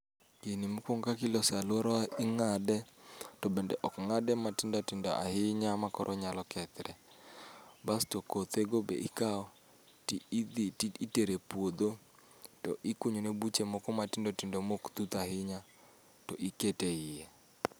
Gini mokuongo kaka iloso e aluora wa ing'ade, to bende ok ng'ade matindo tindo ahinya makoro onyalo kethre. Bas to kothego be ikawo to idhi itero e puodho. To ikunyone buche moko maok tut ahinya basto iketo eiye.